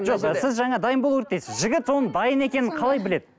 жоқ сіз жаңа дайын болу керек дейсіз жігіт оны дайын екенін қалай біледі